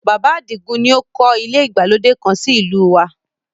Bàbá Àdìgún ni ó kọ́ ilé ìgbàlódé kan sí ìlú u wa